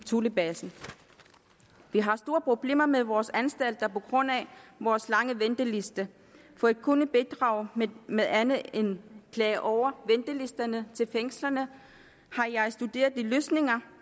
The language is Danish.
thulebasen vi har store problemer med vores anstalter på grund af vores lange venteliste for at kunne bidrage med andet end klager over ventelisterne til fængslerne har jeg studeret de løsninger